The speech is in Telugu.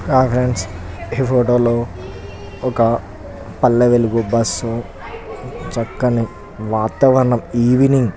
హై ఫ్రెండ్స్ ఈ ఫోటో లో ఒక పల్లె వెలుగు బస్ చక్కని వాతావరణం ఈవెనింగ్ --